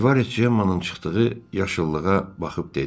Rivarez Cemmanın çıxdığı yaşıllığa baxıb dedi: